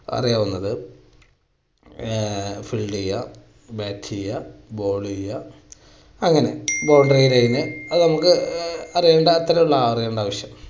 അറിയാവുന്നത് ആ field ചെയ്യുക bat ചെയ്യുക bowl ചെയ്യുക അങ്ങനെ അത് നമുക്ക് അറിയണ്ടാത്ത